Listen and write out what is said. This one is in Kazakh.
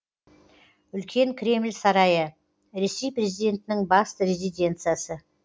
үлкен кремль сарайы ресей президентінің басты резиденциясы